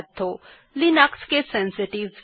মনে রাখবেন যে লিনাক্স কেস সেনসিটিভ